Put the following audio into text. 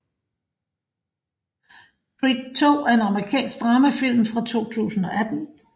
Creed II er en amerikansk dramafilm fra 2018